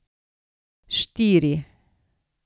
Štiri.